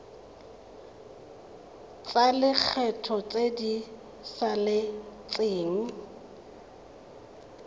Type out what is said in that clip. tsa lekgetho tse di saletseng